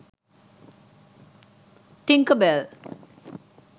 tinker bell